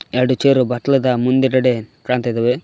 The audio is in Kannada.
ಎರಡು ಚೇರ್ ಬತ್ಲದ ಮುಂದುಗಡೆ ಕಾಣ್ತ ಇದಾವೆ.